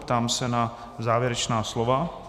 Ptám se na závěrečná slova.